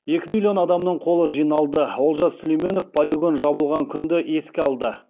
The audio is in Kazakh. екі миллион адамның қолы жиналды олжас сүлейменов полигон жабылған күнді еске алды